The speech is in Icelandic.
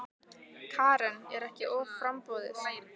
Karen: Er ekki offramboð?